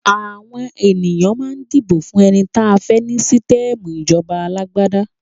Àwọn ènìyàn mà ń dibo fún ẹni tán fẹ ni sítẹmù ìjọba alàgbàdà